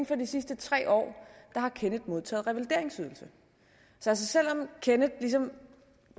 for de sidste tre år har kenneth modtaget revalideringsydelse så selv om kenneth ligesom